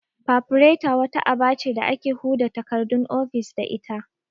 Fafureta' wata aba ce da ake huda takardun ofis da ita